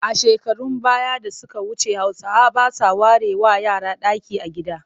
A shekarun baya da suka wuce Hausawa ba sa warewa yara ɗaki a gida